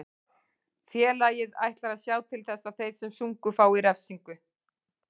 Félagið ætlar að sjá til þess að þeir sem sungu fái refsingu.